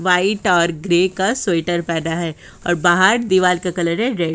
White और grey का sweater पहना है और बाहर दीवाल का कलर है रेड ।